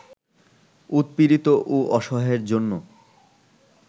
উৎপীড়িত ও অসহায়ের জন্য